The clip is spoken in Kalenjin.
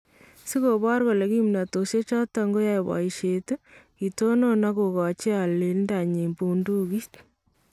Si kiboor kole kimnatoshek choton koyae boyisheet , kitonon ak kokachi aalindenyin buundukit